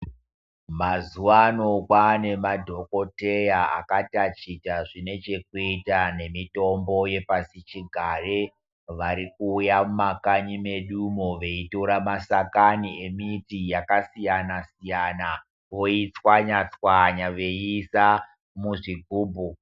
Mazuvano kwane madhogodheya akatachita zvine chekuita nemitombo yepasichigare warikuuya mumakanyi medumo wachitora masakani yemiti yakasiyana siyana woitswanya tswanya woisa muzvigubhu.